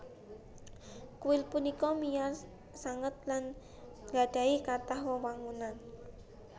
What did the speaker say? Kuil punika wiyar sanget lan gadhahi kathah wewangunan